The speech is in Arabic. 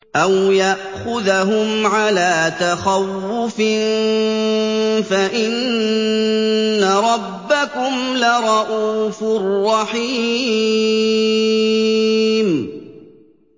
أَوْ يَأْخُذَهُمْ عَلَىٰ تَخَوُّفٍ فَإِنَّ رَبَّكُمْ لَرَءُوفٌ رَّحِيمٌ